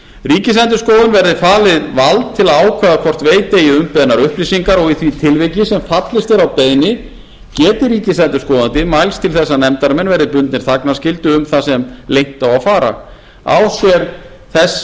ríkisendurskoðun verði falið vald til að ákveða hvort veita eigi umbeðnar upplýsingar og í því tilviki sem fallist er á beiðni geti ríkisendurskoðandi mælst til þess að nefndarmenn verði bundnir þagnarskyldu um það sem leynt á að fara á